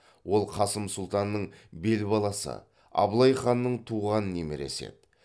ол қасым сұлтанның бел баласы абылай ханның туған немересі еді